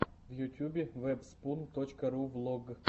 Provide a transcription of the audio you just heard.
в ютюбе вэбспун точка ру влог